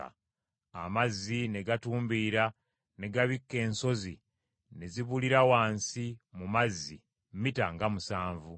Amazzi ne gatumbiira ne gabikka ensozi ne zibulira wansi mu mazzi mita nga musanvu.